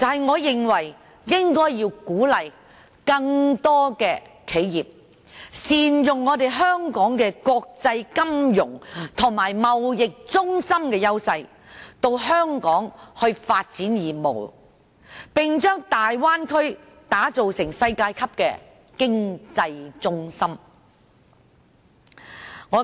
我認為應該鼓勵更多企業善用香港國際金融及貿易中心的優勢，前來香港發展業務，並把大灣區打造成世界級的經濟中心。